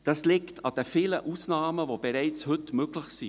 Das liegt an den vielen Ausnahmen, die bereits heute möglich sind.